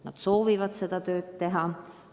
Nad soovivad seda tööd teha.